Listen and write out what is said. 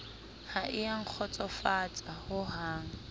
ha e a nkgotsofatsa hohang